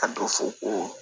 A dɔ fɔ ko